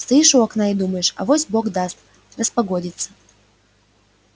стоишь у окна и думаешь авось бог даст распогодится